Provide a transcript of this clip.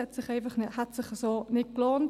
Das hätte sich so nicht gelohnt.